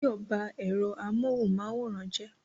Báyọ̀ ba ẹ̀rọ amóhunmáwòrán jẹ́